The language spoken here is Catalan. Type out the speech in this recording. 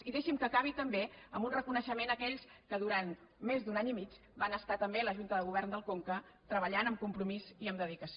i deixi’m que acabi també amb un reconeixement a aquells que durant més d’un any i mig van estar també a la junta de govern del conca treballant amb compromís i amb dedicació